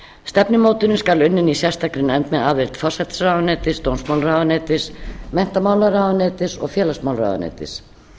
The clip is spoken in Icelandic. stefnumótunin skal unnin af sérstakri nefnd með aðild forsætisráðuneytis dómsmálaráðuneytis menntamálaráðuneytis og félagsmálaráðuneytis